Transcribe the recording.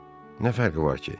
Nə fərqi var ki?